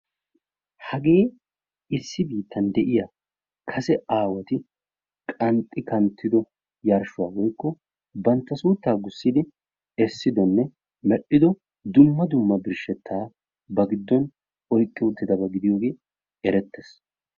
Hagee issi biittan de'iyaa kase aawati qanxxi kanttido yarshuwaa woykko bantta suuttaa gussidi essidonne medhdhido dumma dumma birshettaa ba gidon oyiqqi uttidaba gidiyoogee erettees.